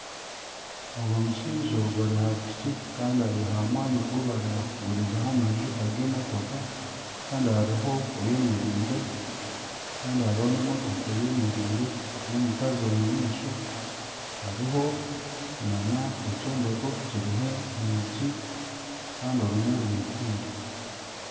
Ogu mushaija ari aha piki kandi ari aha mwanya ogu barikugurizaho amajuta g'emotoka kandi hariho oyemereire kandi hariho n'emotoka eyemereire n'omukazi omu maisho hariho nana ekyombeko kiriho enyingi kandi orumwe rwigwire